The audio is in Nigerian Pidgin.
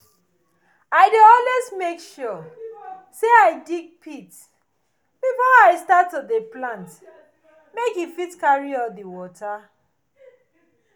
i dey always make sure say i dig pit before i start to dey plant make e fit carry all di water